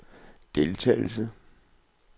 deltagelse